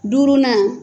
Duurunan